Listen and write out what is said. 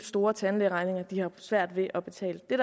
store tandlægeregninger de har svært ved at betale det